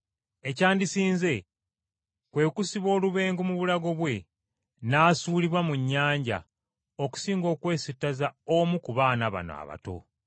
Ekyandisinze kwe kusiba olubengo mu bulago bwe n’asuulibwa mu nnyanja okusinga okwesittaza omu ku baana bano abato.